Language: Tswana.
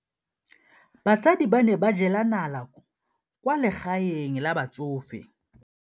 Basadi ba ne ba jela nala kwaa legaeng la batsofe.